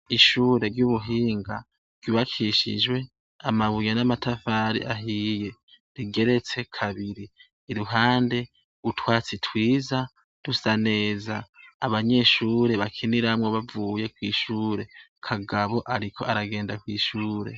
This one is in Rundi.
Ishure ry' ubuhinga ryubakishijwe amabuye n' amatafari ahiye igeretse kabiri iruhande utwatsi twiza dusa neza abanyeshure bakiniramwo bavuye kwishure Kagabo ariko aragenda kwishure.